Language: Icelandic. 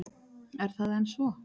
Er það enn svo?